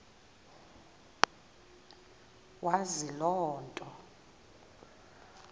wazi loo nto